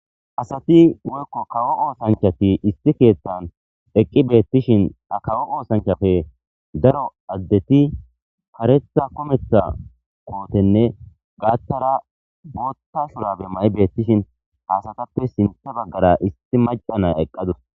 Asati woykko kawo oosanchati isti keethtan eqqi beettishin a kawo oosanchafe daro addeti karetha kometha kootenne gaatara bootta shurabe ma7i beettishin haasatappe sinthe baggara isti macana eqqadus